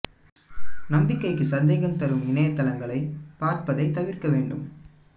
நம்பிக்கைக்கு சந்தேகம் தரும் இணைய தளங்களைப் பார்ப்பதைத் தவிர்க்க வேண்டும்